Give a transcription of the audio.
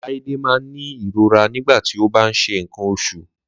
Láídé má n ní ìrora nígbàtí o bá nṣe ńǹkan oṣù